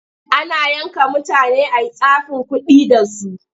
Ana yanka mutane a yi tsafin kuɗi da su.